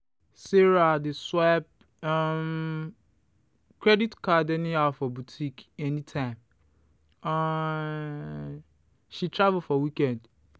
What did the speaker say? sarah dey swipe um credit card anyhow for boutique anytime um she travel for weekend.